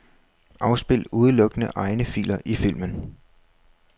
Afspil udelukkende egne filer i filmen.